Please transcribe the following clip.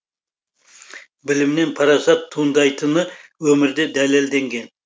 білімнен парасат туындайтыны өмірде дәлелденген